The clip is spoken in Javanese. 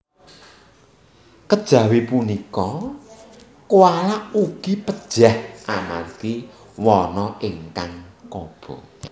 Kejawi punika koala ugi pejah amargi wana ingkang kobongan